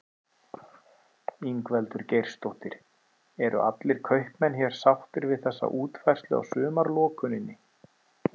Ingveldur Geirsdóttir: Eru allir kaupmenn hér sáttir við þessa útfærslu á sumarlokuninni?